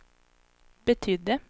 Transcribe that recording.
betydde